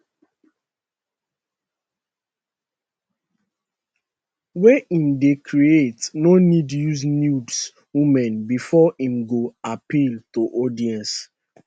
wey im dey create no need use nude women bifor im go appeal to audience